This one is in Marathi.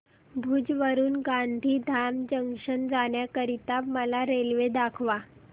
भुज वरून गांधीधाम जंक्शन जाण्या करीता मला रेल्वे दाखवा